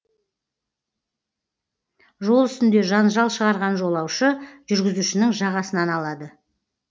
жол үстінде жанжал шығарған жолаушы жүргізушінің жағасынан алады